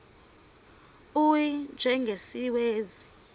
u y njengesiwezi